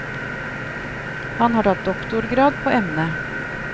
Han har tatt doktorgrad på emnet.